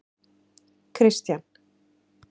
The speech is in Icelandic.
Kristian